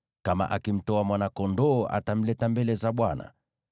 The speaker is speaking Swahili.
Kama akimtoa mwana-kondoo, atamleta mbele za Bwana .